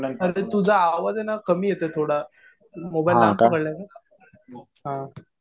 अरे ते तुझा आवाज आहे ना कमी येतोय थोडा. मोबाईल लांब पडलाय का? हा.